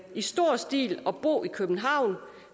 i stor stil at bo i københavn